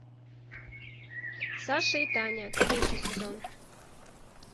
саша и таня третий сезон